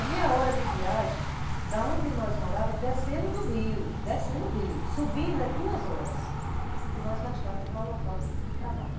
É meia hora de viagem de onde nós morávamos, descendo do rio, descendo o rio, subindo é duas horas que nós gastávamos para o local de trabalho.